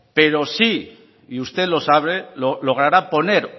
pero sí y usted lo sabe logrará poner